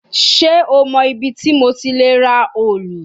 Ṣe o mọ ibiti mo ti le ra òòlù?